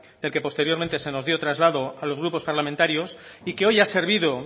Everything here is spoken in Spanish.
del que posteriormente se nos dio traslado a los grupos parlamentarios y que hoy ha servido